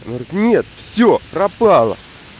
он говорит нет все пропало